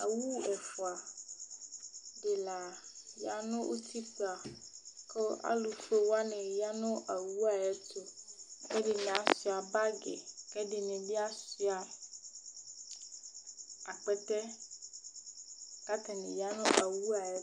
owu ɛfua di la ya no utikpa kò alo fue wani ya no owu wa ayi ɛto k'ɛdini asua bag k'ɛdini bi asua akpɛtɛ k'atani ya no owu yɛ ayi ɛto